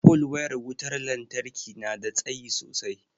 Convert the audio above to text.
pole wayar wutar lantarki nada tsayi sosai